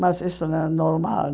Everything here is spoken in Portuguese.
Mas isso não é normal.